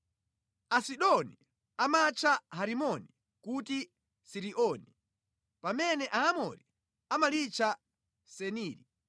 (Asidoni amatcha Herimoni kuti Siriyoni, pamene Aamori amalitcha Seniri).